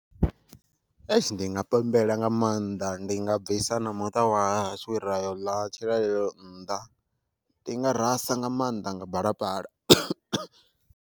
Heish ndi nga pembela nga maanḓa ndi nga bvisa na muṱa wa hashu rayo ḽa tshilalelo nnḓa ndi nga rasa nga maanḓa nga balapala.